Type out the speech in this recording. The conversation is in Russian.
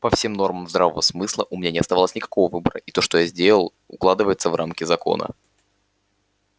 по всем нормам здравого смысла у меня не оставалось никакого выбора и то что я сделал укладывается в рамки закона